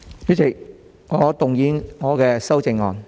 主席，我動議我的修正案。